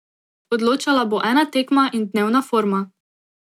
Odločala bo ena tekma in dnevna forma.